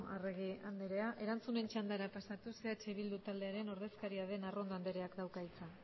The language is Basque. arregi andrea erantzunen txandara pasatuz eh bildu taldearen ordezkaria den arrondo andreak dauka hitza